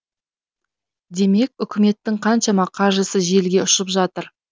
демек үкіметтің қаншама қаржысы желге ұшып жатыр